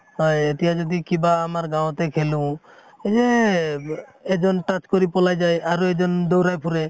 হয় এতিয়া যদি কিবা আমাৰ গাঁৱতে খেলো এইযে এজন touch কৰি পলাই যায় আৰু এজন দৌৰাই ফুৰে